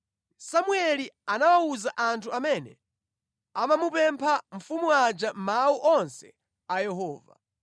Samueli anawawuza anthu amene amamupempha mfumu aja mawu onse a Yehova.